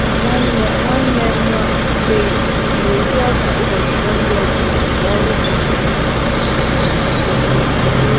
Nwanne nwanne m nwanyị plaits na-eri ọka ụbọchị Sọnde ọ bụla mgbe ọrụ gasịrị.